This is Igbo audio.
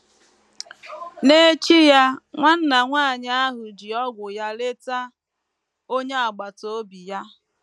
N’echi ya, nwanna nwanyị ahụ ji “ ọgwụ ” ya leta onye agbata obi ya.